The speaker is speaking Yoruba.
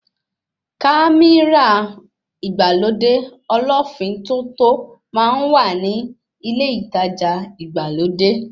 Kámírà ìgbàlódé ọlọ́ọ́fin tótó máa ń wà ni ilé ìtajà ìgbàlódé